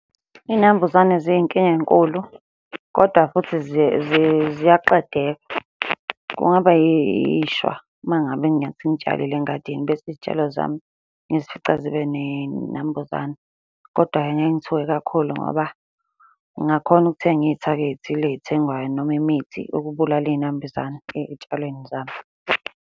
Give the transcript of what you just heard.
Iy'nambuzane ziyinkinga enkulu, kodwa futhi ziyaqedeka. Kungaba yishwa uma ngabe ngingathi ngitshalile engadini bese iy'tshalo zami ngizifica zibe ney'nambuzane, kodwa-ke ngeke ngithuke kakhulu ngoba ngingakhona ukuthenga iy'thako ey'thile ey'thengwayo noma imithi ukubulala iy'nambuzane ey'tshalweni zami.